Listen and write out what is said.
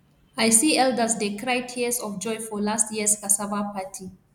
i see elders dey cry tears of joy for last years cassava party